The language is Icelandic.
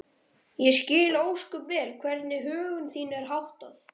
Ég skil ósköp vel hvernig högum þínum er háttað.